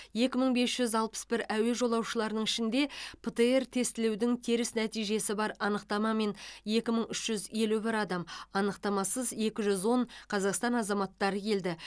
екі мың бес жүз алпыс бір әуе жолаушыларының ішінде птр тестілеудің теріс нәтижесі бар анықтамамен екі мың үш жүз елу бір адам анықтамасыз екі жүз он қазақстан азаматтары келді